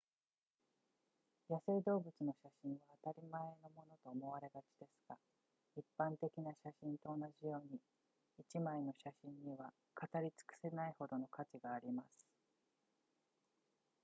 野生動物の写真は当たり前のものと思われがちですが一般的な写真と同じように一枚の写真には語りつくせないほどの価値があります